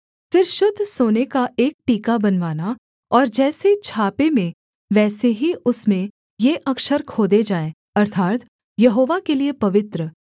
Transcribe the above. फिर शुद्ध सोने का एक टीका बनवाना और जैसे छापे में वैसे ही उसमें ये अक्षर खोदे जाएँ अर्थात् यहोवा के लिये पवित्र